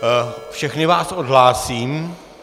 Všechny vás odhlásím.